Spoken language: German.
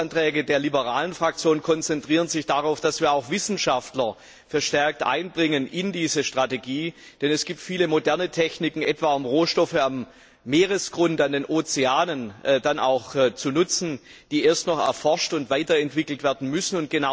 Die Änderungsanträge der liberalen Fraktion konzentrieren sich darauf, dass wir auch Wissenschaftler verstärkt in diese Strategie einbeziehen, denn es gibt viele moderne Techniken, etwa um Rohstoffe am Meeresgrund, in den Ozeanen zu nutzen, die erst noch erforscht und weiterentwickelt werden müssen.